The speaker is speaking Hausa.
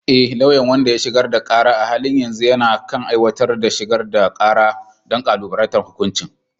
E, lauyan wanda ya shigar da kara a halin yanzu yana kan aiwatar da shigar da kara don kalubalantar hukuncin